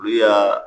Olu y'a